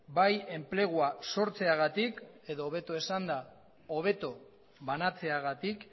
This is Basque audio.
bai enplegua sortzeagatik edo hobeto esanda hobeto banatzeagatik